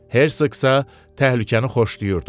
Hersoq isə təhlükəni xoşlayırdı.